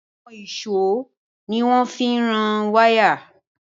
Àwọn ìṣó ni wọ́n fi ń rán wáyà